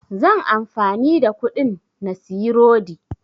Zan amfani da kuɗin na siyi rodi